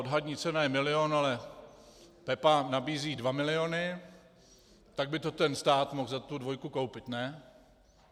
Odhadní cena je milion, ale Pepa nabízí dva miliony, tak by to ten stát mohl za tu dvojku koupit, ne?